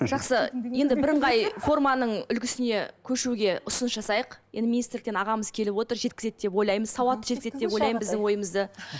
жақсы енді бірыңғай форманың үлгісіне көшуге ұсыныс жасайық енді министрліктен ағамыз келіп отыр жеткізеді деп ойлаймын сауатты жеткізеді деп ойлаймын біздің ойымызды